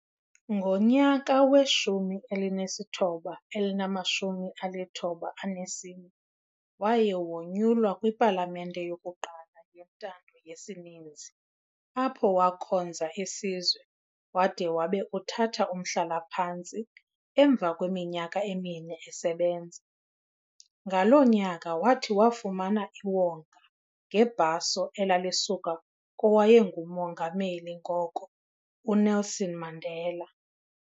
Ngonyaka wama-1994, waye wonyulwa kwiPalamente yokuqala yentando yesininzi apho wakhonza isizwe wade wabe uthatha umhlala-phantsi emva kweminyaka emine esebenza. Ngaloo nyaka wathi wafumana iwonga ngebhaso ela lisuka kowayenguMongameli ngoko uNelson Mandela.